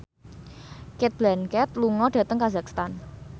Cate Blanchett lunga dhateng kazakhstan